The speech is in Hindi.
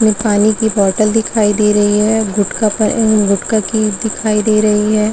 इसमे पानी की बॉटल दिखाई दे रही है गुटका पर ए गुटका की दिखाई दे रही है ।